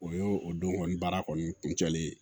O y'o o don kɔni baara kɔni kun cɛlen ye